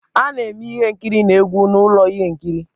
A na-eme ihe nkiri na egwu na ụlọ ihe nkiri